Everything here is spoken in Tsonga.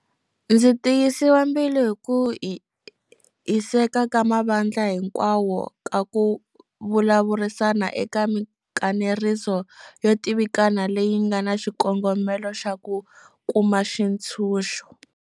Ndzi tiyisiwa mbilu hi ku hiseka ka mavandla hinkwawo ka ku vulavurisana eka mikanerisano yo tivikana leyi nga na xikongomelo xa ku kuma xitshunxo.